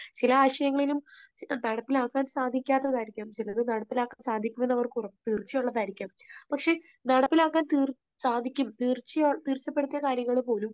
ചില ആശയങ്ങളിലും നടപ്പിലാക്കാൻ സാധിക്കാത്തത് ആയിരിക്കും. ചിലത് നടപ്പിലാക്കാൻ സാധിക്കും എന്ന് അവർക്ക് തീർച്ചയുള്ളത് ആയിരിക്കാം. പക്ഷേ നടപ്പിലാക്കാൻ തീർ, സാധിക്കും, തീർച്ചപ്പെടുത്തിയ കാര്യങ്ങൾ പോലും